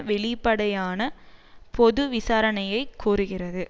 வெளிப்படையான பொது விசாரணையை கோருகிறது